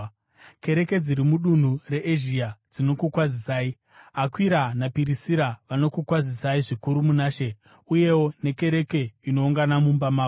Kereke dziri mudunhu reEzhia dzinokukwazisai. Akwira naPirisira vanokukwazisai zvikuru muna She, uyewo nekereke inoungana mumba mavo.